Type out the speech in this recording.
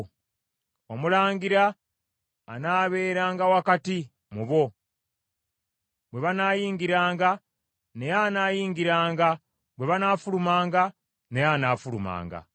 Omulangira anaabeeranga wakati mu bo, bwe banaayingiranga, naye anaayingiranga, bwe banaafulumanga, naye anaafulumanga.